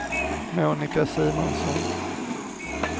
Monica Simonsson